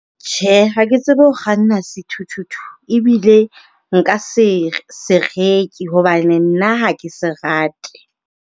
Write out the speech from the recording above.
Tjhe, ha ke tsebe ho kganna sethuthuthu, ebile nka se se reke hobane nna ha ke se rate.